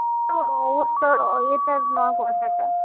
অবস্থার না কথাটা।